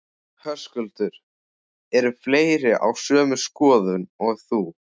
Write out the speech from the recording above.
Höskuldur: Eru fleiri á sömu skoðun og þú?